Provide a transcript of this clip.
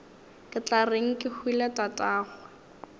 ke tla reng kehwile tatagwe